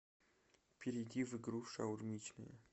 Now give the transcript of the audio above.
перейди в игру шаурмичная